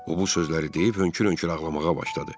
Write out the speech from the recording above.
O bu sözləri deyib hönkür-hönkür ağlamağa başladı.